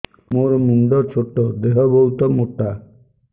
ମୋର ମୁଣ୍ଡ ଛୋଟ ଦେହ ବହୁତ ମୋଟା